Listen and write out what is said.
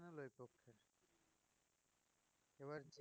এবার এ~